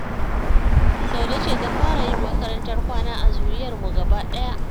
Saude ce ta fara yin makarantar kwana a zuriyarmu gabaɗaya